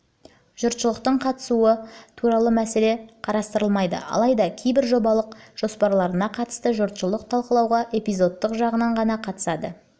жұртшылықтың қатысуы туралы мәселе деп қарастырылмайды алайда кейбір жобалық жоспарларына қатысты жұртшылық талқылауға эпизодтық жағынан ғана қатысады олардың